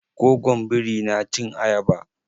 Gogon biri na cin ayaba.